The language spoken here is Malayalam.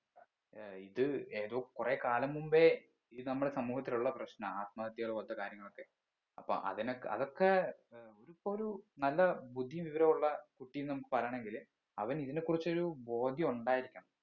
ഏർ ഇത് ഏതോ കുറേ കാലം മുമ്പേ ഇത് നമ്മുടെ സമൂഹത്തിൽ ഉള്ള പ്രശ്നാണ് ആത്മഹത്യകൾ പോലെത്തെ കാര്യങ്ങളൊക്കെ അപ്പൊ അതിനൊക്കെ അതൊക്കെ ഏർ ഒര് ഇപ്പൊ ഒരു നല്ല ബുദ്ധിയും വിവരവുമുള്ള കുട്ടി നമ്മുക്ക് പറയണെങ്കില് അവന് ഇതിനെ കുറിച്ചൊരു ബോധ്യം ഉണ്ടായിരിക്കണം